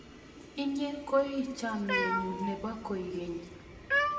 Inye koi chamanenyu ne po koigeny.